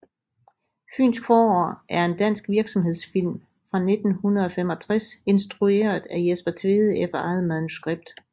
Fynsk forår er en dansk virksomhedsfilm fra 1965 instrueret af Jesper Tvede efter eget manuskript